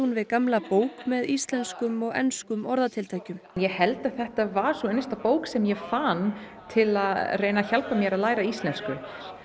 við gamla bók með íslenskum og enskum orðatiltækjum ég held þetta var sú einasta bók sem ég fann til að hjálpa mér að læra íslensku